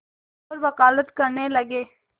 और वक़ालत करने लगे